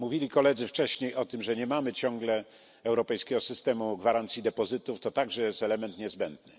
Koledzy mówili wcześniej o tym, że nie mamy ciągle europejskiego systemu gwarancji depozytów to także jest element niezbędny.